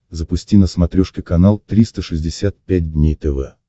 запусти на смотрешке канал триста шестьдесят пять дней тв